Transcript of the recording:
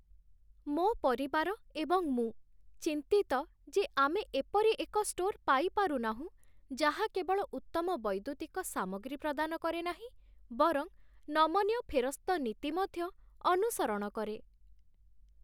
ମୋ ପରିବାର ଏବଂ ମୁଁ ଚିନ୍ତିତ ଯେ ଆମେ ଏପରି ଏକ ଷ୍ଟୋର୍ ପାଇପାରୁନାହୁଁ ଯାହା କେବଳ ଉତ୍ତମ ବୈଦ୍ୟୁତିକ ସାମଗ୍ରୀ ପ୍ରଦାନ କରେ ନାହିଁ ବରଂ ନମନୀୟ ଫେରସ୍ତ ନୀତି ମଧ୍ୟ ଅନୁସରଣ କରେ